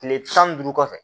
Kile tan ni duuru kɔfɛ